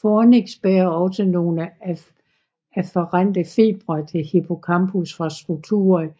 Fornix bærer også nogle afferente fibre til hippocampus fra strukturer i